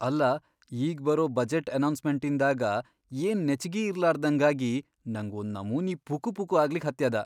ಅಲ್ಲಾ ಈಗ್ ಬರೋ ಬಜೆಟ್ ಅನೌನ್ಸ್ಮೆಂಟಿಂದಾಗ ಏನ್ ನೆಚ್ಚಿಗಿ ಇರ್ಲಾರ್ದಂಗಾಗಿ ನಂಗ್ ಒಂದ್ ನಮೂನಿ ಪುಕುಪುಕು ಆಗ್ಲಿಕ್ ಹತ್ಯದ.